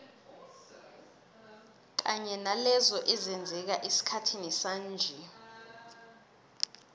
kanye nalezo ezenzeka esikhathini sanje